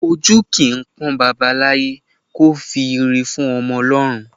Ojú kìí pọ́n baba láyé kò fi ìre fún ọmọ lọ́run